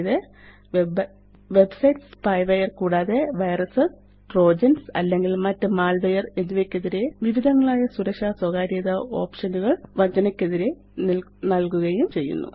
ഇത് websites spyware കൂടാതെ virus trojans അല്ലെങ്കില് മറ്റ് മാൽവെയർ എന്നിവയ്ക്കെതിരെ വിവിധങ്ങളായ സുരക്ഷാ സ്വകാര്യതാ ഓപ്ഷനുകള് വഞ്ചനയ്ക്കെതിരെ നല്കുകയും ചെയ്യുന്നു